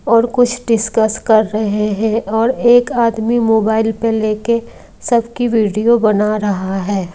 और कुछ डिस्कस कर रहे हैं और एक आदमी मोबाइल पे लेके सबकी वीडियो बना रहा है।